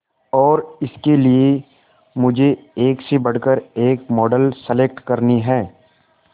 और इसके लिए मुझे एक से बढ़कर एक मॉडल सेलेक्ट करनी है